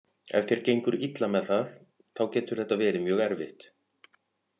Ef þér gengur illa með það þá getur þetta verið mjög erfitt.